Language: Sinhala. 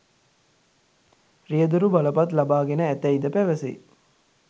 රියැදුරු බලපත් ලබාගෙන ඇතැයිද පැවසේ